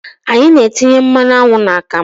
Anyị na-etinye mmanụ aṅụ n'akamụ.